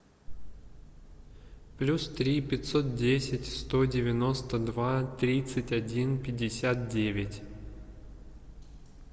плюс три пятьсот десять сто девяносто два тридцать один пятьдесят девять